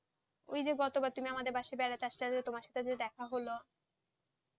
ওইযে গতবার তুমি আমাদের বাসাতে বেড়াতে আসলে, তোমার সাথে দেখা হল?